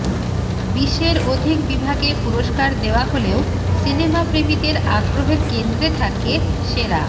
বিশের অধিক বিভাগে পুরস্কার দেওয়া হলেও সিনেমাপ্রেমীদের আগ্রহের কেন্দ্রে থাকে সেরা